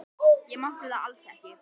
Ég mátti það alls ekki.